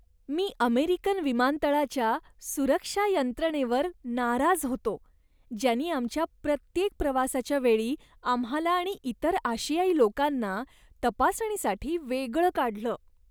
मी American विमानतळाच्या सुरक्षा यंत्रणेवर नाराज होतो, ज्यांनी आमच्या प्रत्येक प्रवासाच्या वेळी आम्हाला आणि इतर आशियाई लोकांना तपासणीसाठी वेगळं काढलं.